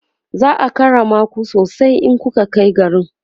za'a karrama ku sosai in kunkai garin